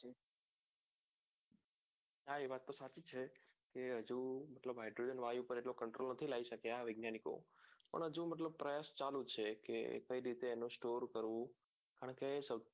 હા એ વાત તો સાચી છે કે હજુ hydrogen વાયુ પર એટલો control નથી લઇ શક્યાં વૈજ્ઞાનિકો હજુ પ્રયાસ ચાલુ છે કે કઈ રીતે એને store કરવું અને